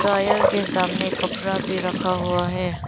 Tyre के सामने कपड़ा भी रखा हुआ है।